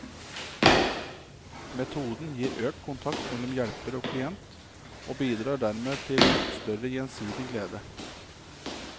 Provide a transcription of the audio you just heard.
Metoden gir økt kontakt mellom hjelper og klient og bidrar dermed til større gjensidig glede.